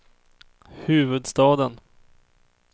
huvudstaden